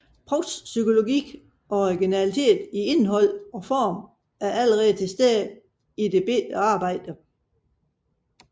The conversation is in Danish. Prousts psykologi og originalitet i indhold og form er allerede til stede i dette lille arbejde